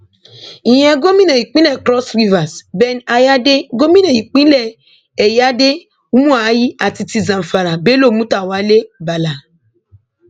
ìyẹn gómìnà ìpínlẹ cross rivers ben ayáde gòmìnà ìpínlẹ ẹyáde umuahi àti ti zamfara bello mutawalé balla